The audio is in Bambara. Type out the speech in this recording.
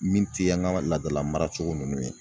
Min tɛ an ka laadala maracogo ninnu ye.